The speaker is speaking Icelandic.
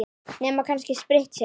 Nema kannski spritt, segir hún.